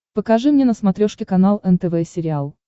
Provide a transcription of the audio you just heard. покажи мне на смотрешке канал нтв сериал